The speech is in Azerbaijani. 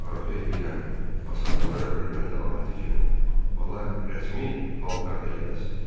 Arzu eləyirəm, ağsaqqallara hörmət əlaməti kimi bala rəsmi paltarda gələsiz.